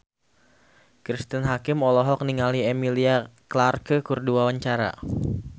Cristine Hakim olohok ningali Emilia Clarke keur diwawancara